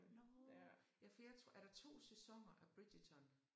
Nåh! Ja for jeg tror er der 2 sæsoner af Bridgerton?